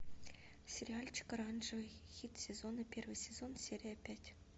сериальчик оранжевый хит сезона первый сезон серия пять